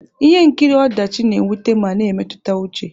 Ihe nkiri ọdachi na-ewute ma na emetụta uche.